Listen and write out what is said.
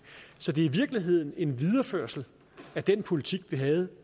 så det er i virkeligheden en videreførelse af den politik vi havde